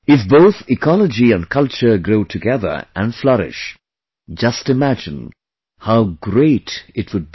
If both Ecology and Culture grow together and flourish..., just imagine how great it would be